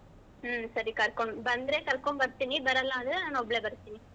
ಹ್ಮ್ ಸರಿ ಕರ್ಕೊಂ~ ಬಂದ್ರೆ ಕರ್ಕೊಂಡು ಬರ್ತೀನಿ ಬರಲ್ಲ ಅಂದ್ರೆ ನಾನ್ ಒಬ್ಳೆ ಬರ್ತೀನಿ.